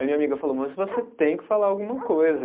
Aí minha amiga falou, mas você tem que falar alguma coisa.